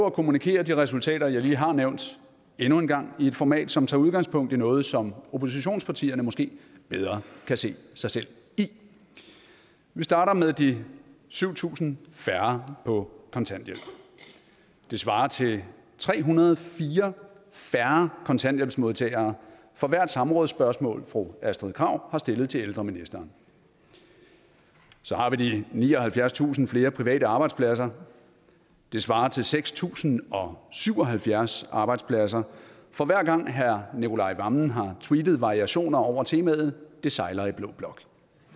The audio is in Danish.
at kommunikere de resultater jeg lige har nævnt endnu en gang i et format som tager udgangspunkt i noget som oppositionspartierne måske bedre kan se sig selv i vi starter med de syv tusind færre på kontanthjælp det svarer til tre hundrede og fire færre kontanthjælpsmodtagere for hvert samrådsspørgsmål fru astrid krag har stillet til ældreministeren så har vi de nioghalvfjerdstusind flere private arbejdspladser det svarer til seks tusind og syv og halvfjerds arbejdspladser for hver gang herre nicolai wammen har tweetet variationer over temaet det sejler i blå blok